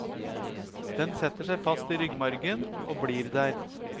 Den setter seg fast i ryggmargen og blir der.